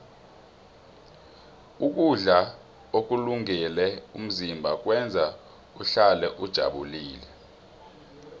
ukudla ukulungele umzimba kwenza uhlale ujabulile